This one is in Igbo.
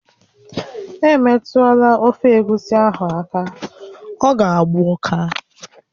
Emetụla ofe egusi ahụ aka, ọ ga-agba ụká!